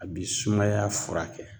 A bi sumaya fura kɛ.